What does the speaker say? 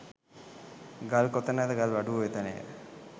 ගල් කොතැනද ගල්වඩුවෝ එතැනය